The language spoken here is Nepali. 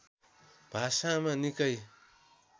भाषामा निकै